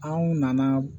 Anw nana